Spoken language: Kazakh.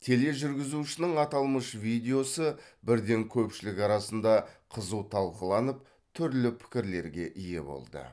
тележүргізушінің аталмыш видеосы бірден көпшілік арасында қызу талқыланып түрлі пікірлерге ие болды